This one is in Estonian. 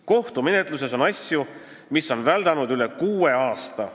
Kohtumenetluses on asju, mis on väldanud üle kuue aasta.